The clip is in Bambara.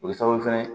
O ye sababu fɛnɛ ye